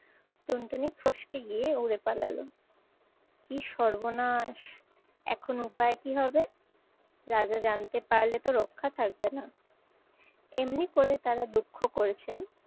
টুনটুনি ফসকে গিয়ে উড়ে পালালো। কি সর্বনাশ, এখন উপায় কি হবে? রাজা জানতে পারলে তো রক্ষা থাকবে না। এমনি করে তারা দুঃখ করেছেন